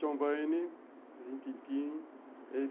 John Wayne, Rin Tin Tin.